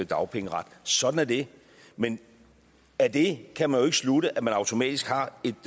dagpengeret sådan er det men af det kan man slutte at man automatisk har et